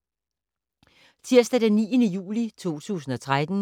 Tirsdag d. 9. juli 2013